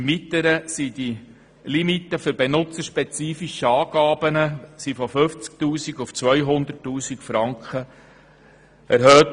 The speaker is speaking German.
Im Weiteren wurden die Limiten für benutzerspezifische Anpassungen von 50 000 auf 200 000 Franken erhöht.